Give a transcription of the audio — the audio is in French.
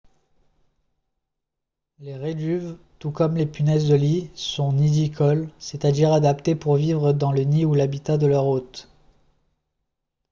les réduves tout comme les punaises de lit sont nidicoles c'est-à-dire adaptées pour vivre dans le nid ou l'habitat de leur hôte